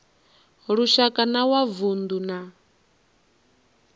lushaka na wa vundu na